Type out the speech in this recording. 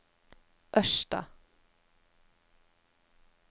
Ørsta